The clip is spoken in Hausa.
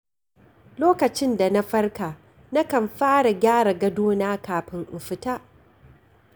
Lokacin da na farka na kan fara gyara gadona kafin in fita.